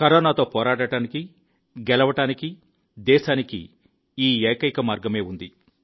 కరోనాతో పోరాడటానికి గెలవడానికి దేశానికి ఈ ఏకైక మార్గమే ఉంది